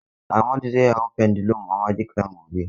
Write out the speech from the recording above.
Amadu zai hau Pendulum a magic land gobe.